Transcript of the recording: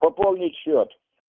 пополнить счёт